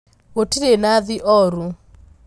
Gũtirĩnathi ooru.